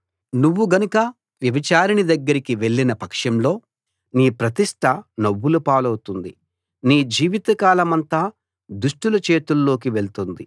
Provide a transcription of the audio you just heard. నువ్వు గనుక వ్యభిచారిణి దగ్గరికి వెళ్లిన పక్షంలో నీ ప్రతిష్ట నవ్వుల పాలౌతుంది నీ జీవిత కాలమంతా దుష్టుల చేతిల్లోకి వెళ్తుంది